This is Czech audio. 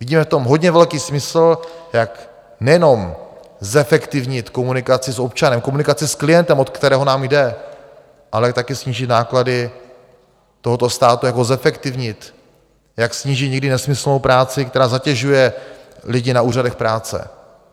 Vidíme v tom hodně velký smysl, jak nejenom zefektivnit komunikaci s občanem, komunikaci s klientem, o kterého nám jde, ale také snížit náklady tohoto státu, jak ho zefektivnit, jak snížit někdy nesmyslnou práci, která zatěžuje lidi na úřadech práce.